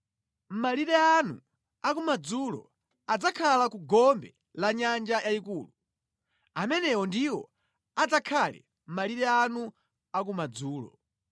“ ‘Malire anu a ku madzulo adzakhala ku gombe la Nyanja Yayikulu. Amenewo ndiwo adzakhale malire anu a ku madzulo.